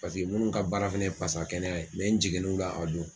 Paseke minnu ka baara fana ye pasa kɛnɛya ye n jiginni u la a don.